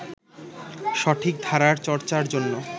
সঠিক ধারার চর্চার জন্য